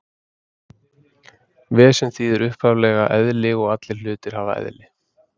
Vesen þýðir upphaflega eðli og allir hlutir hafa eðli.